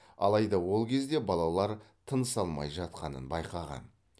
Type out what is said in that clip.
алайда ол кезде балалар тыныс алмай жатқанын байқаған